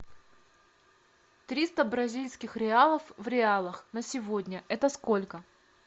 триста бразильских реалов в реалах на сегодня это сколько